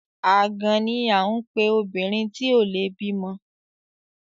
Àgàn ni à ń pe obìnrin tí ò le bímọ.